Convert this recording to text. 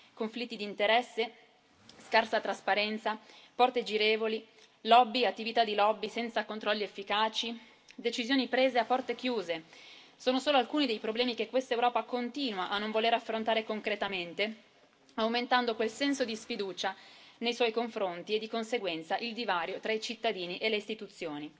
Conflitti di interesse, scarsa trasparenza, porte girevoli, lobby e attività di lobby senza controlli efficaci, decisioni prese a porte chiuse sono solo alcuni dei problemi che questa Europa continua a non voler affrontare concretamente, aumentando quel senso di sfiducia nei suoi confronti e, di conseguenza, il divario tra i cittadini e le istituzioni.